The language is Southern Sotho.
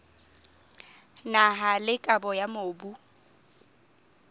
naha le kabo ya mobu